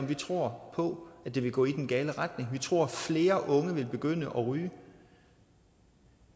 vi tror på at det vil gå i den gale retning vi tror at flere unge vil begynde at ryge